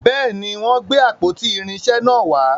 béèni, wón gbé àpótí irinṣẹ nà wà.